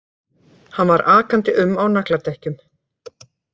Hann var akandi um á nagladekkjum